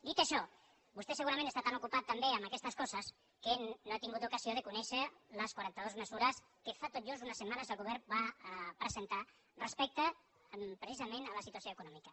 dit això vostè segurament està tan ocupat també en aquestes coses que no ha tingut ocasió de conèixer les quaranta dues mesures que fa tot just unes setmanes el govern va presentar respecte precisament a la situació econòmica